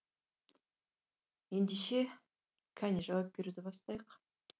ендеше қане жауап беруді бастайық